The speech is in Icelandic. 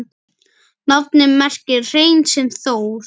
Nafnið merkir hrein sem Þór